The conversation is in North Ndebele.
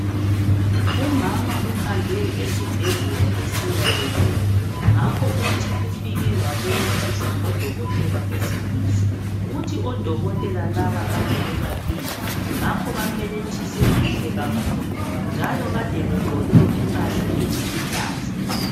umama uhambe esibhedlela esiyabeletha ngakho uthi ufike wabelethiswa ngo dokotela besilisa uthi odokotela laba kade bebabili ngakho bambelethise kahle kakhulu njalo kade begqoke impahla eziluhlaza